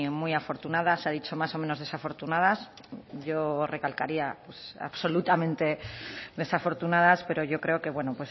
muy afortunadas ha dicho más o menos desafortunadas yo recalcaría absolutamente desafortunadas pero yo creo que bueno